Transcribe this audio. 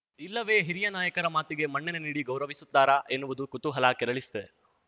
ಇಲ್ಲವೇ ಹಿರಿಯ ನಾಯಕರ ಮಾತಿಗೆ ಮನ್ನಣೆ ನೀಡಿ ಗೌರವಿಸುತ್ತಾರ ಎನ್ನುವುದು ಕುತೂಹಲ ಕೆರಳಿಸಿದೆ